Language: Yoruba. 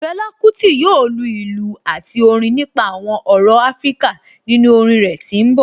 Fela Kuti yoo lu ilu ati Orin nipa awọn ọrọ Afirika ninu orin rẹ ti n bọ